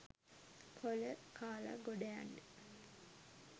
කොල කාල ගොඩයන්න?